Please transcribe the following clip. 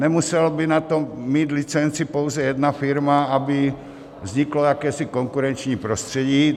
Nemusela by na to mít licenci pouze jedna firma, aby vzniklo jakési konkurenční prostředí.